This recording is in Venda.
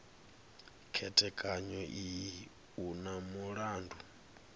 khethekanyo iyi u na mulandu